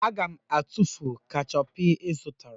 Aga m atụfu kechọpụ ị zụtara